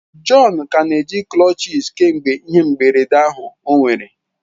John ka na-eji crutches kemgbe ihe mberede ahụ o nwere.